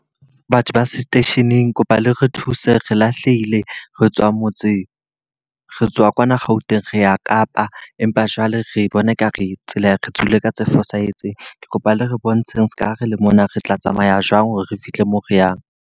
Batho ba seteisheneng kopa le re thuse re lahlehile. Re tswang motse, re tswa kwana Gauteng re ya Kapa. Empa jwale re bona e ka re tsela re tswile ka tse fosahetseng. Ke kopa le re bontsheng seka ha re le mona te tla tsamaya jwang hore re fihle moo re yang.